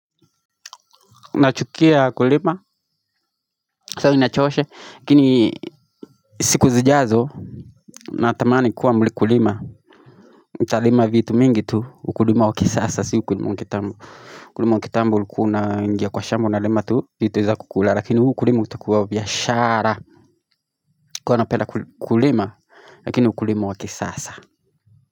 Nachukia kulima, saa inachosha, lakini siku zijazo Natamani kuwa mkulima, nitalima vitu mingi tu, ukulima wa kisasa, si ukulima wa kitambo Ukulima wa kitambo ulikuwa unaingia kwa shamba unalima tu, vitu za kukula Lakini huu ukulima utakuwa wa biashara Kwa napenda kulima, lakini ukulima wa kisasa.